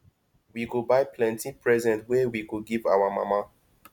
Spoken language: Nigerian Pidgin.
we go buy plenty present wey we go give our mama